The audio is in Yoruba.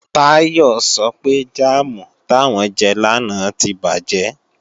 Táyọ̀ sọ pé jáàmù táwọn jẹ lánàá tí bàjẹ́